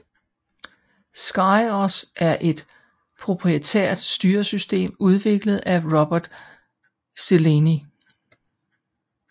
SkyOS er et proprietært styresystem udviklet af Robert Szeleney